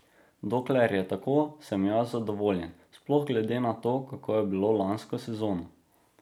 Dokler je tako, sem jaz zadovoljen, sploh glede na to, kako je bilo lansko sezono.